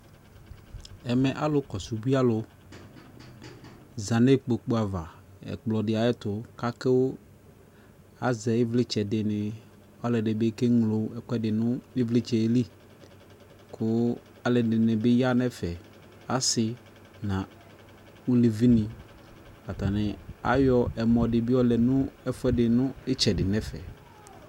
Ɛmɛ alu kɔsu ubuialu ʒa nekpokpuava ɛkplɔdi ayɛtu kakuu aʒɛɛ ivlitsɛ dini, aluɛdini bi keŋlo ɛkuɛdi nu ivlitsɛ lii kuu luɛdinibi yaa nɛfɛ ku asii na uluvini Atanii ayɔ ɛmɔ dii bi yɔlɛ nitsɛdi ɛfɛ